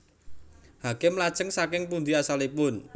Hakim Lajeng saking pundi asalipun